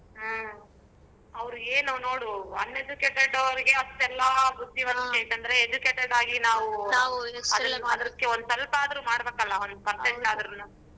ಹ್ಮ್ ಅವರಿಗೇನ್ ನೋಡು uneducated ಅವರಿಗೆ ಅಸ್ಟೆಲ್ಲ ಬುದ್ದಿವಂತಿಕೆ ಐತಂದ್ರೆ educated ಆಗಿ ನಾವು ಒಂದಸ್ವಲ್ಪದ್ರು ಮಾಡ್ಬೇಕಲ್ಲ ಒಂದ್ percent ಆದ್ರೂನು.